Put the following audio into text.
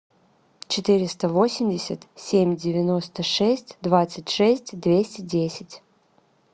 четыреста восемьдесят семь девяносто шесть двадцать шесть двести десять